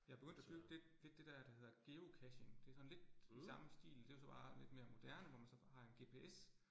Jeg begyndt at købe det det det dér, der hedder Geocaching, det sådan lidt i samme stil, det jo så bare lidt mere moderne, hvor man så har en GPS